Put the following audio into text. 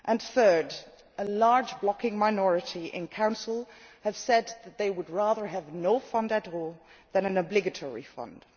Thirdly, a large blocking minority in Council have said that they would rather have no fund at all than an obligatory fund.